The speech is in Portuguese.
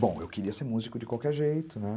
Bom, eu queria ser músico de qualquer jeito, né?